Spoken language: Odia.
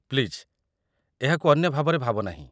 ପ୍ଲିଜ୍ ଏହାକୁ ଅନ୍ୟ ଭାବରେ ଭାବ ନାହିଁ।